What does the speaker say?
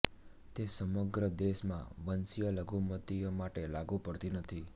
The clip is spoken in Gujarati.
તે સમગ્ર દેશમાં વંશીય લઘુમતીઓ માટે લાગુ પડતી નથી